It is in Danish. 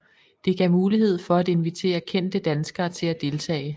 Det gav mulighed for at invitere kendte danskere til at deltage